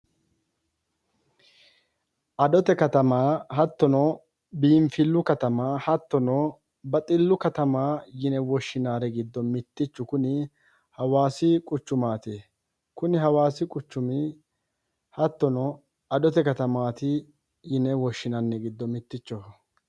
Adote katama hattono biinfillu katama hattono baxillu katama yine woshshinayri giddo mittichu kuni hawaasi quchumaati kuni hawaasi quchumi hattono adote katamaati yine woshshinanniri giddo mittichoho.